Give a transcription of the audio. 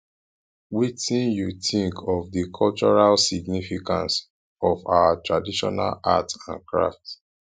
wetin you think about di cultural significance of our traditional art and craft